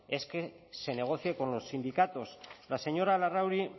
es que se negocie con los sindicatos la señora larrauri